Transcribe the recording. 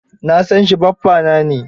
Na san shi, baffana ne.